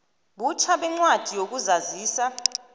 butjha kwencwadi yokuzazisa